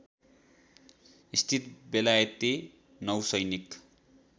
स्थित बेलायती नौसैनिक